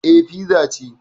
Eh, fiza ce